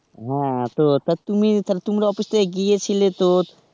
হ্যাঁ তো, তা তুমি, তোমরা office থেকে গিয়েছিলে তো?